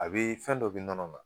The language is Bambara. A bɛ fɛn dɔ nɔnɔ la